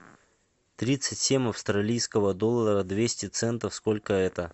тридцать семь австралийского доллара двести центов сколько это